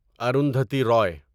Arundhati Ravi